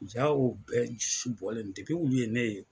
Ja o bɛɛ bɔlen olu ye ne ye.